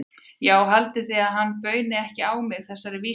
Já, haldið þið að hann bauni ekki á mig þessari vísu?